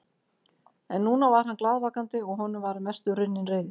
En núna var hann glaðvakandi og honum var að mestu runnin reiðin.